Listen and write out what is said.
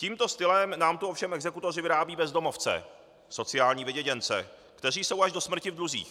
Tímto stylem nám tu ovšem exekutoři vyrábějí bezdomovce, sociální vyděděnce, kteří jsou až do smrti v dluzích.